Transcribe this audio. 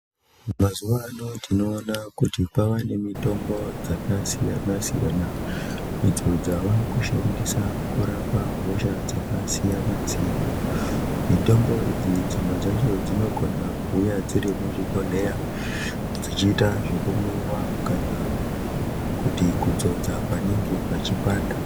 Mazuwano tinoona kuti kwaane mitombo dzakasiyana siyana idzo dzavakushandiswa kurapa hosha dzakasiyana siyana mitombo idzi dzimwe dzacho dzinokona kuuya dzirimuzvibhedhleya dzichiita zvekumwiwa kana kuti kudzodza panenge pachipanda.